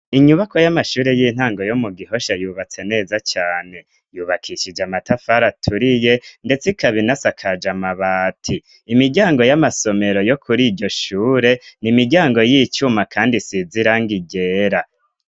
inyubako y'amashure y'intango yo mu gihosha yubatse neza cane yubakishije amatafari aturiye ndetse ikabinasakaje amabati imiryango y'amasomero yo kuri ijyoshure ni imiryango y'icuma kandi isize irangi ryera